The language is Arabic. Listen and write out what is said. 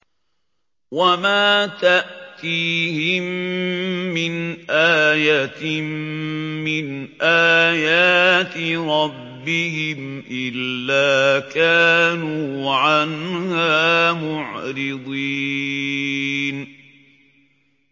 وَمَا تَأْتِيهِم مِّنْ آيَةٍ مِّنْ آيَاتِ رَبِّهِمْ إِلَّا كَانُوا عَنْهَا مُعْرِضِينَ